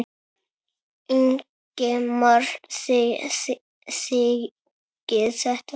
Ingimar: Þið þiggið þetta?